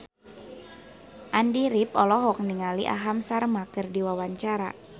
Andy rif olohok ningali Aham Sharma keur diwawancara